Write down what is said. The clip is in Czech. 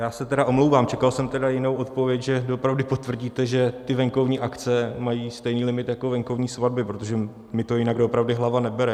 Já se tedy omlouvám, čekal jsem tedy jinou odpověď, že doopravdy potvrdíte, že ty venkovní akce mají stejný limit jako venkovní svatby, protože mně to jinak doopravdy hlava nebere.